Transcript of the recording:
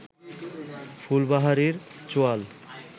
ফুলবাহারি চোয়াল